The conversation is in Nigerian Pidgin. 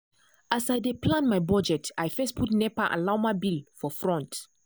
as i dey plan my budget i first put nepa and lawma bill for front.